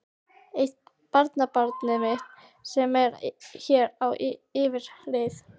Eitt barnabarnið mitt sem var hér á yfirreið.